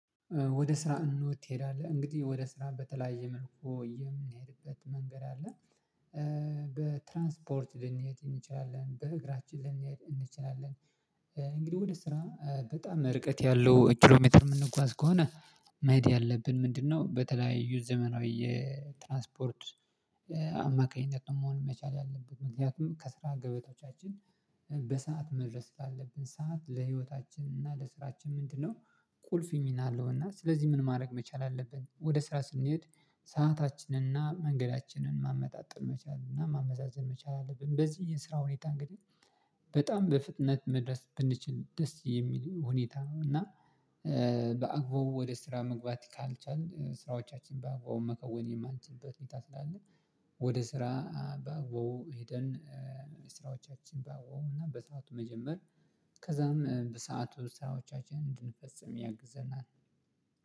ወደ ስራ እንዴት? ትሄዳለህ እንግዲህ ወደ ስራ በተለያየ መልኩ የምሄድበት መንገድ አለ ኧ በትራንስፖርት ልንሄድ እንችላለን በእግራችን ልንሄድ እንችላለን። እንግዲህ ወደ ስራ በጣም ርቀት ያለው ኪሎ ሜትር የምንጓዝ ከሆነ መሄድ ያለብን ምንድነው? በተለያዩ ዘመናዊ ትራንስፖርት አማካኝነት መሆን መቻል ያለበት ምክንያቱም ከስራ ገበቶቻችን በሰአት መድረስ ስላለብን ሰዓት ለህይወታችን እና ለስራችን ምንድነው? ቁልፍ ሚናለው እና ስለዚህ ምን ማድረግ መቻል አለብን ወደ ስራ ስንሄድ ሰአታችንን እና መንገዳችንን ማመጣጠን መቻል እና ማመዛዘን መቻል አለብን። በዚህ የስራ ሁኔታ እንግዲህ በጣም በፍጥነት መድረስ ብንችል ደስ የሚል ሁኔታ እና እ በአግባቡ ወደ ስራ መግባት ካልቻልን ስራዎቻችን በአግባቡ መከወን የማንችልበት ሁኔታ ስላለ። ወደ ስራ በአግባቡ ሄደን ስራዎቻችን በአግባቡና በሰአቱ መጀመር ከዛም በሰአቱ ስራዎቻችንን እንድንፈጽም ያግዘናል።